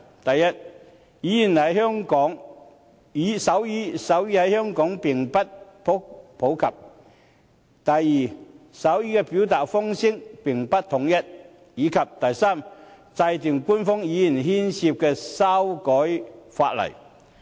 第一，手語在香港並不普及；第二，手語的表達方式並不統一；及第三，涉及修改法例。